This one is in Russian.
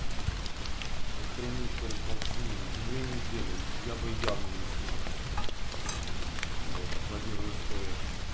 охренеть рекордсмен две недели я бы явно не смог блять аплодирую стоя